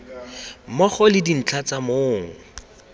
mmogo le dintlha tsa mong